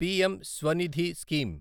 PM Svanidhi scheme